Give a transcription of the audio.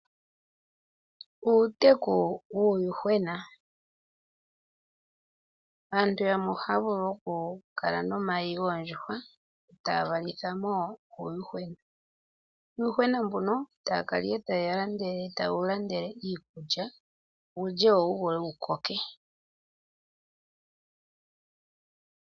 Uuteku wuuyuhwena. Aantu yamwe ohaya vulu okukala nomayi yoondjuhwa etaya valithamo uuyuhwena. Nuuyuhwena mbuno, taya kala nduno taye wu landele iikulya, wu lye etawu koko.